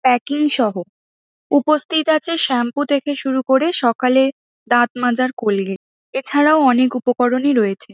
প্যাকিংসহ উপস্থিত আছে শ্যাম্পু থেকে শুরু করে সকালে দাঁত মাজার কোলগেট এছাড়াও অনেক উপকরণই রয়েছে।